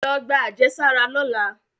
Lọ gba ajesara lọla!